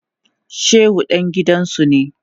Shehu dan gidansu ne.